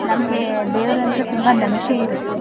ನಮ್ಗೆ ದೇವ್ರ ಅಂದ್ರೆ ತುಂಬಾ ನಂಬಿಕೆ ಇರುತ್ತೆ .